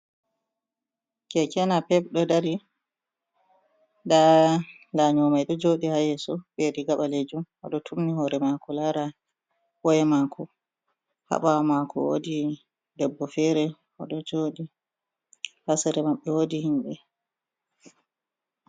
Keke napep ɗo dari, nda lanyo mai ɗo joɗi ha yeso be riga ɓalejum oɗo turni hore mako lara waya mako ha bawo mako wodi debbo fere ɗo joɗi ha sera maɓɓe wodi himɓe.